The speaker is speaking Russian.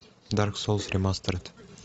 дарк соулс ремастеред